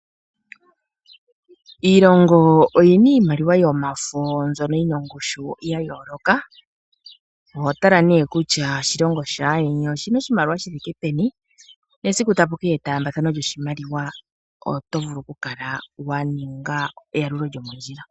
Iilongo oyi na iimaliwa yomafo mbyono yi na ongushu ya yooloka. Oho tala nee kutya oshilongo shaayeni oshi na oshimaliwa shi thike peni, nesiku taku ka kala kwa ningwa etaambathano lyoshimaliwa oto vulu okukala wa ninga eyalulo lyomondjila.